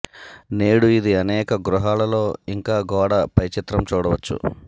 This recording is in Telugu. నేడు ఇది అనేక గృహాలలో ఇంకా గోడ పై చిత్రం చూడవచ్చు